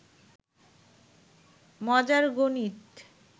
মজার গনিত